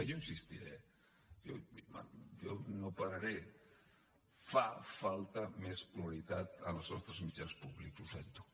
jo hi insistiré jo no pararé fa falta més pluralitat en els nostres mitjans públics ho sento